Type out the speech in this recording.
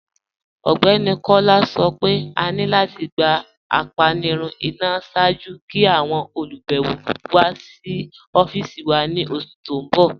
Ọgbẹni Kọla sọ́ pé à ní láti gbà ápànirun ìná ṣáàjú kí àwọn olubẹ̀wọ̀ wà sí ọ̀fíìsì wà ni oṣù tí n bọ̀.